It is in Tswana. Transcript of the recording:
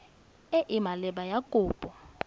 e e maleba ya kopo